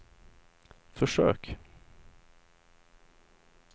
försök